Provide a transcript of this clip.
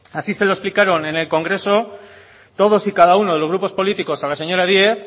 así se lo explicaron en el congreso todos y cada uno de los grupos políticos a la señora díez